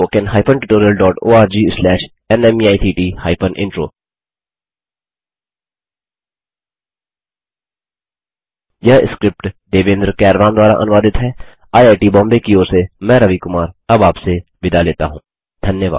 spoken hyphen tutorial dot org slash नमेक्ट hyphen intro यह script Devendra कैरवान द्वारा अनुवादित है आईआईटी बॉम्बे की ओर से मैं रवि कुमार अब आपसे विदा लेता हूँ